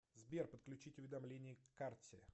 сбер подключить уведомление к карте